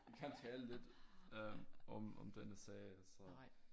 Kan tale lidt øh om om denne sag altså